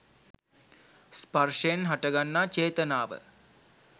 ස්පර්ශයෙන් හටගන්නා චේතනාව